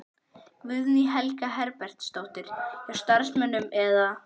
Guðný Helga Herbertsdóttir: Hjá starfsmönnum eða?